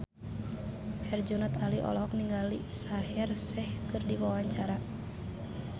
Herjunot Ali olohok ningali Shaheer Sheikh keur diwawancara